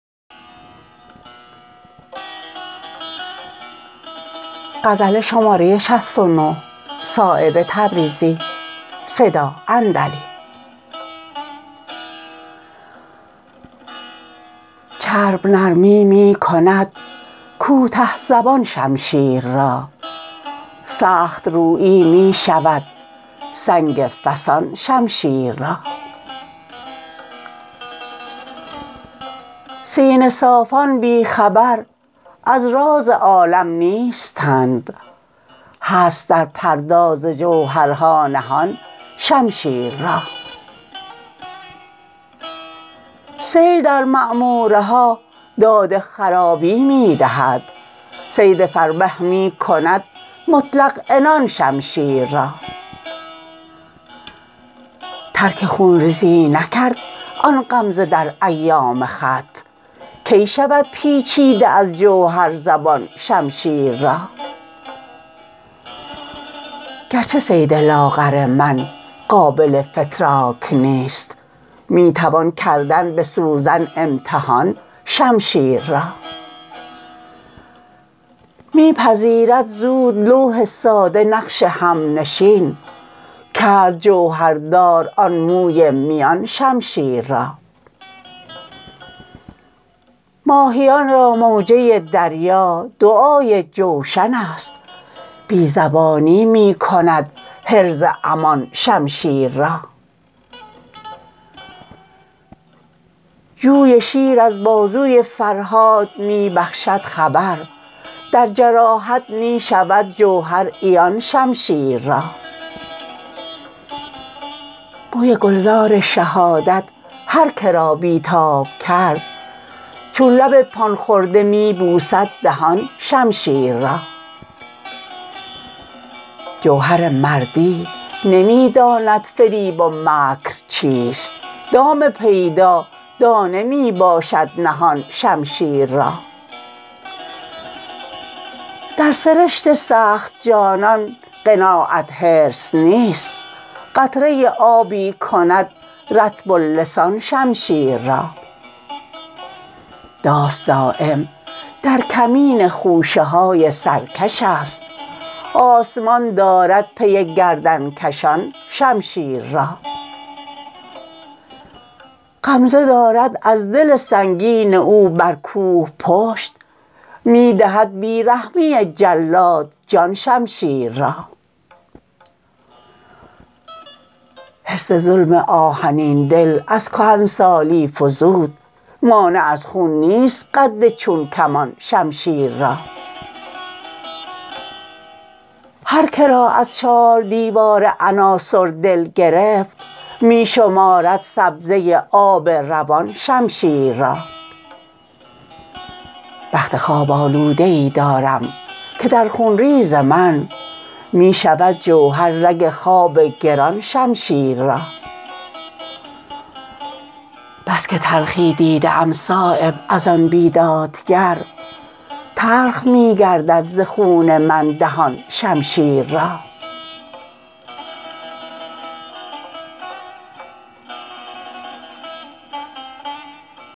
چرب نرمی می کند کوته زبان شمشیر را سخت رویی می شود سنگ فسان شمشیر را سینه صافان بی خبر از راز عالم نیستند هست در پرداز جوهرها نهان شمشیر را سیل در معموره ها داد خرابی می دهد صید فربه می کند مطلق عنان شمشیر را ترک خونریزی نکرد آن غمزه در ایام خط کی شود پیچیده از جوهر زبان شمشیر را گرچه صید لاغر من قابل فتراک نیست می توان کردن به سوزن امتحان شمشیر را می پذیرد زود لوح ساده نقش همنشین کرد جوهردار آن موی میان شمشیر را ماهیان را موجه دریا دعای جوشن است بی زبانی می کند حرز امان شمشیر را جوی شیر از بازوی فرهاد می بخشد خبر در جراحت می شود جوهر عیان شمشیر را بوی گلزار شهادت هر که را بی تاب کرد چون لب پان خورده می بوسد دهان شمشیر را جوهر مردی نمی داند فریب و مکر چیست دام پیدا دانه می باشد نهان شمشیر را در سرشت سخت جانان قناعت حرص نیست قطره آبی کند رطب اللسان شمشیر را داس دایم در کمین خوشه های سرکش است آسمان دارد پی گردنکشان شمشیر را غمزه دارد از دل سنگین او بر کوه پشت می دهد بی رحمی جلاد جان شمشیر را حرص ظلم آهنین دل از کهنسالی فزود مانع از خون نیست قد چون کمان شمشیر را هر که را از چار دیوار عناصر دل گرفت می شمارد سبزه آب روان شمشیر را بخت خواب آلوده ای دارم که در خونریز من می شود جوهر رگ خواب گران شمشیر را بس که تلخی دیده ام صایب ازان بیدادگر تلخ می گردد ز خون من دهان شمشیر را